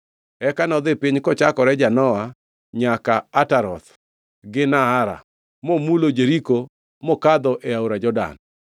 Eka nodhi piny kochakore Janoa nyaka Ataroth gi Naara, momulo Jeriko mokadho e aora Jordan.